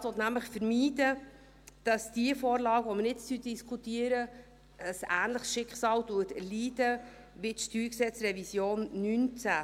Der Regierungsrat will nämlich vermeiden will, dass die Vorlage, die wir jetzt diskutieren, ein ähnliches Schicksal erleidet wie die StG-Revision 2019.